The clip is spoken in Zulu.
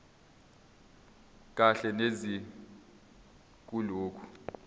kahle neze kulokho